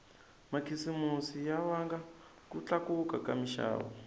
makhisimusi ya vanga ku tlakuka ka minxavo